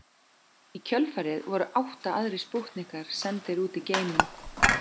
Í kjölfarið voru átta aðrir spútnikar sendir út í geiminn.